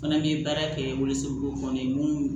Fana bɛ baara kɛ woso kɔnɔ mun